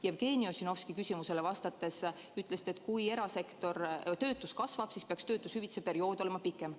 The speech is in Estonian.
Jevgeni Ossinovski küsimusele vastates ütlesite, et kui töötus kasvab, siis peaks töötuskindlustushüvitise saamise periood olema pikem.